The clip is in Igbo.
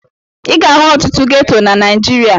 Ị ga-ahụ ọtụtụ geto na Naịjirịa.